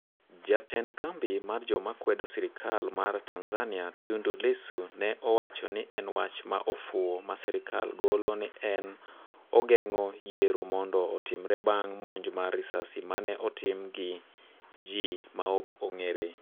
jatend kambi mar joma kwedo sirikal mar Tanzania, Tundu Lissu ne owacho ni en wach ma ofuwo ma sirikal golo ni en ogeng'o yiero mondo otimre bang monj mar risasi mane otim gi ji maokong'ere